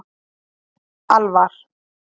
Alvar